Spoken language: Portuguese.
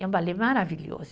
É um balé maravilhoso.